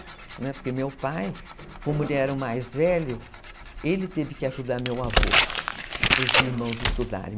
Porque meu pai, como ele era o mais velho, ele teve que ajudar meu avô e para os irmãos estudarem.